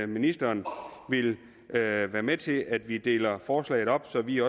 ministeren vil være være med til at vi deler forslaget op så vi